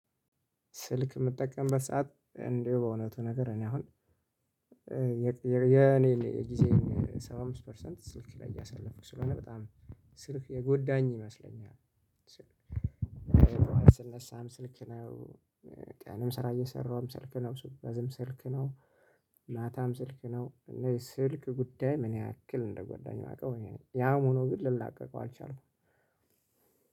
ስልክ ምጠቀምበት ሰዓት እንዲሁ በእውነቱ ነገር እኔ አሁን የኔን ጊዜ ሰባ አምስት ፐርሰንት ስልክ ላይ እያሳለፍኩ ስለሆነ በጣም ስልክ የጎዳኝ ይመስለኛል። ስነሳም ስልክ ነው፤ ቀንም ስራ እየሰራሁም ስልክ ነው፤ ስጓዝም ስልክ ነው፤ ማታም ስልክ ነው፤ እና የስልክ ጉዳይ ምን ያክል እንደጎዳኝ ማውቀው እኔ ነኝ። ያም ሆኖ ግን ልላቀቀው አልቻልኩም።